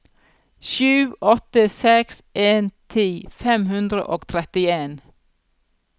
sju åtte seks en ti fem hundre og trettien